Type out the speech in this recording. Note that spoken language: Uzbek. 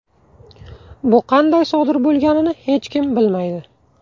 Bu qanday sodir bo‘lganini hech kim bilmaydi .